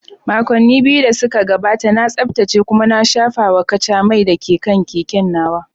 Makonni biyu da suka gabata, na tsaftace kuma na shafawa kaca mai da ke kan keken nawa.